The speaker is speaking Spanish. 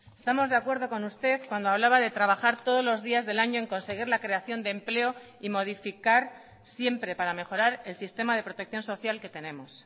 estamos de acuerdo con usted cuando hablaba de trabajar todos los días del año en conseguir la creación de empleo y modificar siempre para mejorar el sistema de protección social que tenemos